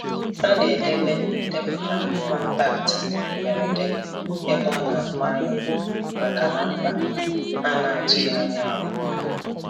Ha na-edebe ndepụta kọntaktị mberede ebe ọna afu anya maka na mkpa a na-atụghị anya ya.